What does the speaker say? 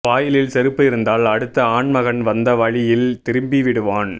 வாயிலில் செருப்பு இருந்தால் அடுத்த ஆண்மகன் வந்த வழியில் திரும்பி விடுவான்